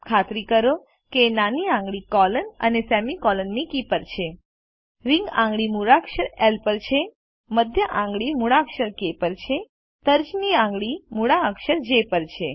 ખાતરી કરો કે નાની આંગળી કોલોન સેમીકોલન કી પર છે રીંગ આંગળી મૂળાક્ષર એલ પર છે મધ્ય આંગળી મૂળાક્ષર કે પર છે તર્જની આંગળી મૂળાક્ષર જે પર છે